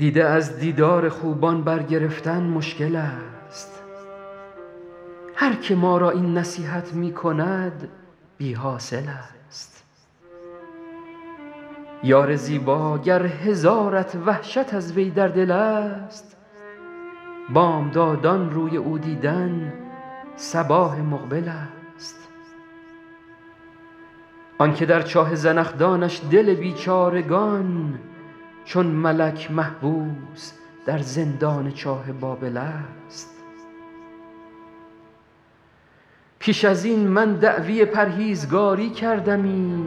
دیده از دیدار خوبان برگرفتن مشکل ست هر که ما را این نصیحت می کند بی حاصل ست یار زیبا گر هزارت وحشت از وی در دل ست بامدادان روی او دیدن صباح مقبل ست آن که در چاه زنخدانش دل بیچارگان چون ملک محبوس در زندان چاه بابل ست پیش از این من دعوی پرهیزگاری کردمی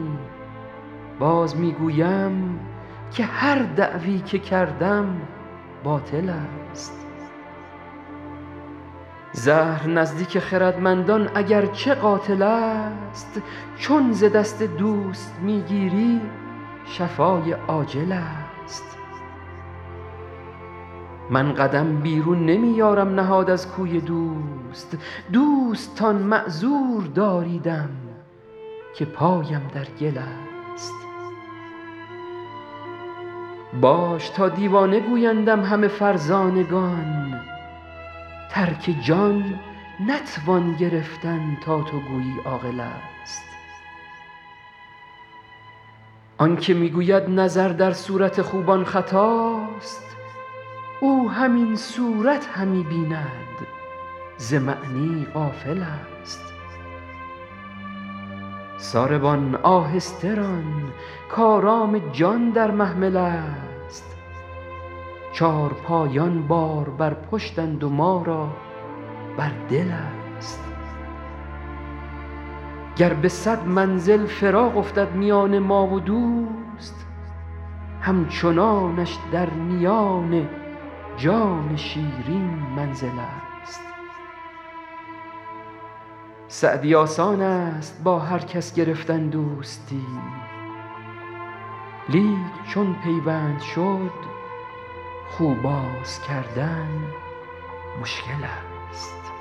باز می گویم که هر دعوی که کردم باطل ست زهر نزدیک خردمندان اگر چه قاتل ست چون ز دست دوست می گیری شفای عاجل ست من قدم بیرون نمی یارم نهاد از کوی دوست دوستان معذور داریدم که پایم در گل ست باش تا دیوانه گویندم همه فرزانگان ترک جان نتوان گرفتن تا تو گویی عاقل ست آن که می گوید نظر در صورت خوبان خطاست او همین صورت همی بیند ز معنی غافل ست ساربان آهسته ران کآرام جان در محمل ست چارپایان بار بر پشتند و ما را بر دل ست گر به صد منزل فراق افتد میان ما و دوست همچنانش در میان جان شیرین منزل ست سعدی آسان ست با هر کس گرفتن دوستی لیک چون پیوند شد خو باز کردن مشکل ست